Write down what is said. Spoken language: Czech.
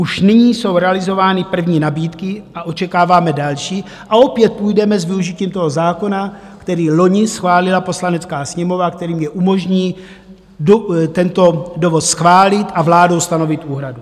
Už nyní jsou realizovány první nabídky a očekáváme další a opět půjdeme s využitím toho zákona, který loni schválila Poslanecká sněmovna, který mi umožní tento dovoz schválit a vládou stanovit úhradu.